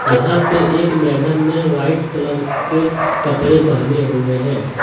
यहां पे एक मैडम ने वाइट कलर के कपड़े पहने हुए है।